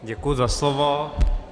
Děkuji za slovo.